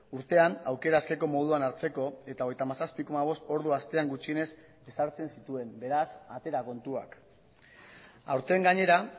urtean aukera askeko moduan hartzeko eta hogeita hamazazpi koma bost ordu astean gutxienez ezartzen zituen beraz atera kontuak aurten gainera